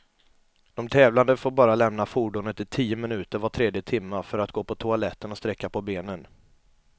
De tävlande får bara lämna fordonet i tio minuter var tredje timme, för att gå på toaletten och sträcka på benen.